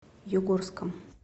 югорском